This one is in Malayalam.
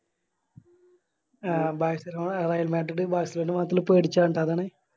ആ ബാഴ്‌സലോണ ബാഴ്‌സലോണ അതാണ്